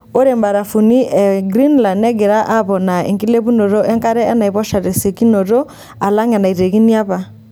Ore mrafuni e Greenland negira aponaa enkilepunoto enkare enaiposha tesiokinoto alang enaitekini apa.